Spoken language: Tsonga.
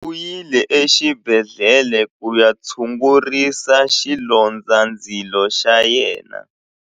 U yile exibedhlele ku ya tshungurisa xilondzandzilo xa yena.